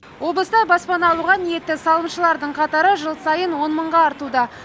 облыста баспана алуға ниетті салымшылардың қатары жыл сайын он мыңға артуда